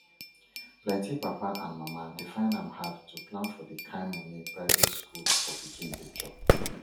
plenty papa and mama dey find am hard to plan for the kain money private school for pikin dey chop